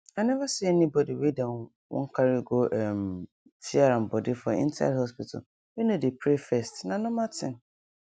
i never see anybody wey dem wan carry go um tear am body for inside hospital wey no dey pray first na normal thing